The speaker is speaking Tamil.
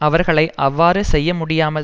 அவர்களை அவ்வாறு செய்ய முடியாமல்